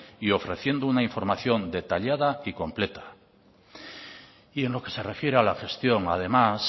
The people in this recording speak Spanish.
y ofreciendo una información detallada y completa y en lo que se refiere a la gestión además